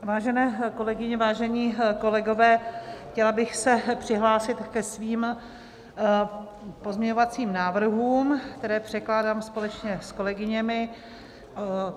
Vážené kolegyně, vážení kolegové, chtěla bych se přihlásit ke svým pozměňovacím návrhům, které předkládám společně s kolegyněmi.